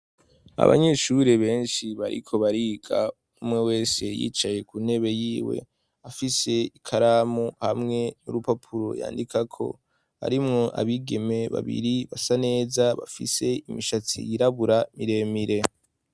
Abanyeshuri benshi bariko bariga umwe wese yicaye ku ntebe yiwe, afise ikaramu hamwe n'urupapuro yandika ko arimwo abigeme babiri basa neza bafise imishatsi yirabura miremire.